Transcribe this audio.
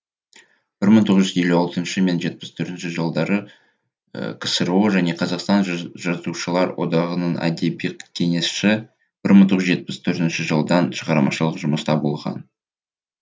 бір мың тоғыз жүұз елу алтыншы жетпіс төртінші жылдары ксро және қазақстан жазушылар одағында әдеби кеңесші бір мың тоғыз жүз жетпіс төртінші жылдан шығармашылық жұмыста болған